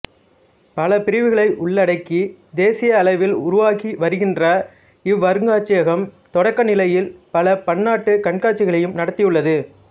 பல பிரிவுகளை உள்ளடக்கி தேசிய அளவில் உருவாகிவருகின்ற இவ்வருங்காட்சியகம் தொடக்க நிலையில் பல பன்னாட்டுக் கண்காட்சிகளையும் நடத்தியுள்ளது